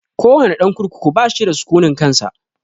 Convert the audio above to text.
Ko wane ɗan kurkuku bashi da sukunin kansa